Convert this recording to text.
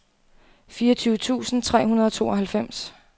fireogtyve tusind tre hundrede og tooghalvfems